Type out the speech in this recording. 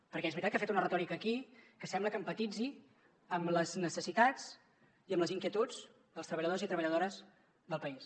perquè és veritat que ha fet una retòrica aquí que sembla que empatitzi amb les necessitats i amb les inquietuds dels treballadors i treballadores del país